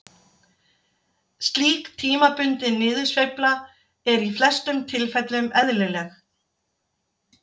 Slík tímabundin niðursveifla er í flestum tilfellum eðlileg.